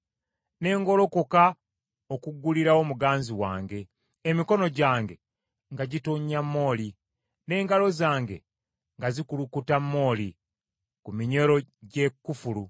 Ne ngolokoka okuggulirawo muganzi wange, emikono gyange nga gitonnya mooli, n’engalo zange nga zikulukuta mooli, ku minyolo gy’ekufulu.